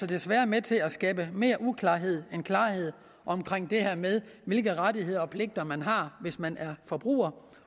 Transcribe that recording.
desværre med til at skabe mere uklarhed end klarhed om det her med hvilke rettigheder og pligter man har hvis man er forbruger